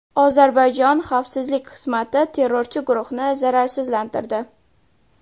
Ozarbayjon xavfsizlik xizmati terrorchi guruhni zararsizlantirdi.